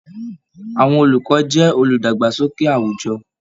Àwọn olùkọ jẹ oludagbasoke àwùjọ.